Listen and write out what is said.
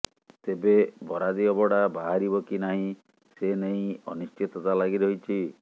ତେବେ ବରାଦି ଅବଢା ବାହାରିବ କି ନାହିଁ ସେ ନେଇ ଅନିଶ୍ଚିତତା ଲାଗି ରହିଛି